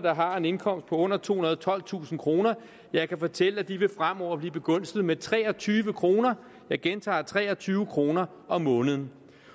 der har en indkomst på under tohundrede og tolvtusind kroner jeg kan fortælle at de fremover vil blive begunstiget med tre og tyve kroner jeg gentager tre og tyve kroner om måneden